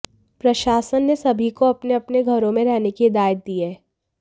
प्रशासन ने सभी को अपने अपने घरों में रहने की हिदायत दी है